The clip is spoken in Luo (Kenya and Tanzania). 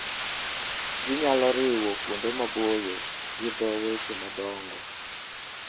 Ginyalo riwo kuonde maboyo gi dho wedhe madongo.